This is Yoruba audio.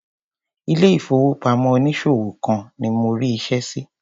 Ilé ìfowópamọ́ onísòwò kan ni mo rí iṣẹ́ sí.